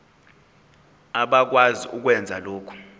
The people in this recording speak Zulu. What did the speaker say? abakwazi ukwenza lokhu